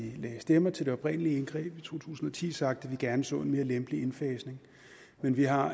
lagde stemmer til det oprindelige indgreb i to tusind og ti sagt at vi gerne så en mere lempelig indfasning men vi har